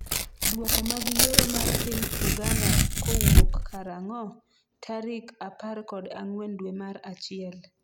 dwoko mag yiero mar piny Uganda kowuok karang'o? tarik apar kod ang'wen dwe mar achiel